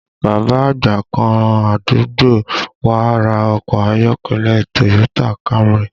Bàbá àgbà kan àdúgbò wá ra ọkọ ayọ́kẹ́lẹ́ Toyota Camry